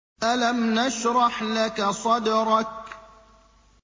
أَلَمْ نَشْرَحْ لَكَ صَدْرَكَ